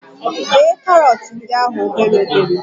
Bee karọt ndi ahụ obere obere